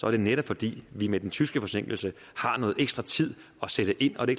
er det netop fordi vi med den tyske forsinkelse har noget ekstra tid at sætte ind og det